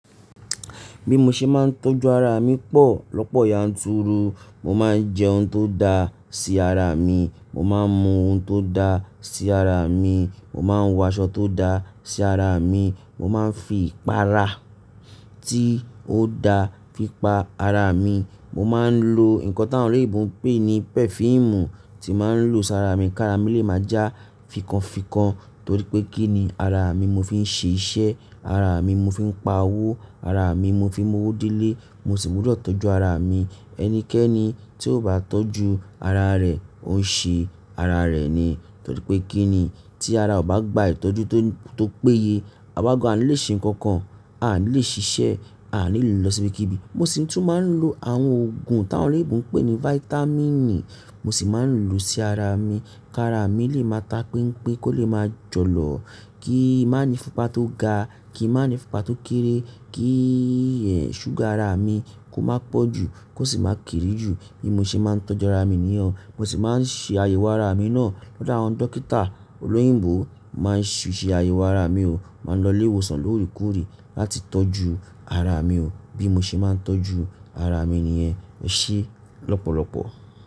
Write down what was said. Bí mo ṣe máa ń tọ́jú ara mi pọ̀ lọ́pọ̀ yanturu. Mo máa ń jẹ oun tó dá sí ara mi, mo máa ń mu oun tó dá sí ara mi, mo máa ń wọ aṣọ tó dá sí ara mi, mo máa ń fi ìpara tí ó dá fi pa ara mi, mo máa ń lo nǹkan táwọn oloyinbo ń pè ní pẹfíìmù tí màá ń lò sí ara mi kí ara mi lè má já fikọ́nfikọ́n torí pé kí ni ara mi ni mo fi ń ṣe iṣẹ́, ara mi mo fi ń pa owó, ara mi mo fi ń mu owó délé, mo sì gbọdọ̀ tọ́jú ara mi. Ẹnikẹ́ni tí ó bá tọ́jú ara rẹ̀, ó ń ṣe ara rẹ̀ ni torí pé kí ni tí ara ò bá gba ìtọ́jú tó, tó péye. Àwa gan a ni lè ṣe nǹkan kan, a ni lè ṣiṣẹ́, a ni lè lọ síbikìbí. Mo sì tún máa ń lo àwọn òògùn táwọn ará ìgbo ń pè ní fáítámínì, mo sì máa ń lò ó sí ara mi kí ara mi lè máa tapínpín, kó lè máa jọ̀lọ̀, kí i má ní ìfúnpá tó ga, kí i má ní ìfúnpá tó kéré, kí ì ẹ, ṣúgà ara mi kó má pọ̀ jù kó sì má kéré jù. Bí mo ṣe máa ń tọ́jú ara mi nìyẹn. Mo sì máa ń ṣe àyẹ̀wò ara mi náà lọ́dọ̀ àwọn dókítà olóyìnbó mo máa ń ṣì ṣe àyẹ̀wò ara mi o, mo máa ń lọ ilé ìwòsàn lóòrèkóòrè láti tọ́jú ara mi o. Bí mo ṣe máa ń tọ́jú ara mi nìyẹn, ẹ ṣé lọ́pọ̀lọpọ̀.